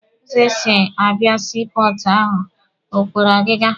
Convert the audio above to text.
Ụzọ esi abịa sii pọọtụ ahụ o kwere ọgịga?